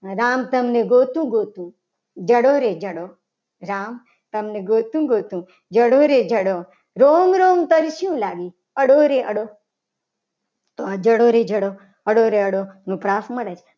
રામ તમને ગોતુ ગોતુ જાડો રે જાડો રામ તમને ગોતુ ગોતુ જડો રે જડો રોમ રોમ તરસી લાવી. અડોરે અડો તો આ જડો રે જડો અડો રે અડો એનો પ્રાસ મળે છે.